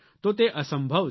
તો તે અસંભવ છે